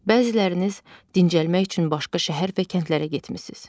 Bəziləriniz dincəlmək üçün başqa şəhər və kəndlərə getmisiniz.